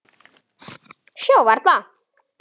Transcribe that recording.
Sjá varla.